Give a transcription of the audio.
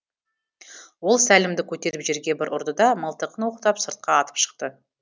ол сәлімді көтеріп жерге бір ұрды да мылтығын оқтап сыртқа атып шықты